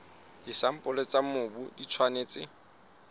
disampole tsa mobu di tshwanetse